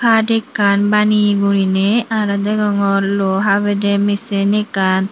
haat ekkan baneye guriney aro degongor luo habedey misin ekkan.